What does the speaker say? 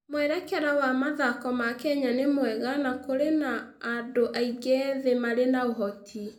Mwerekera wa mathako ma Kenya nĩ mwega na kũrĩ na andũ aingĩ ethĩ marĩ na ũhoti.